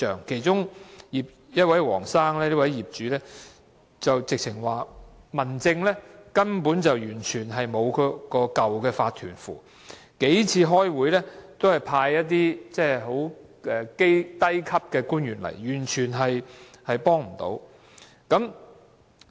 其中一位姓黃的業主，直指民政事務處根本無法對付原有法團，數次開會也只是派一些初級官員出席，完全幫不上忙。